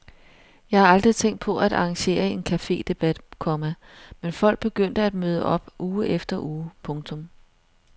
Jeg har aldrig tænkt på at arrangere en cafedebat, komma men folk begyndte at møde op uge efter uge. punktum